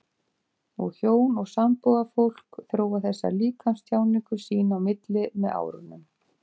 Og hjón og sambúðarfólk þróa þessa líkamstjáningu sín á milli með árunum.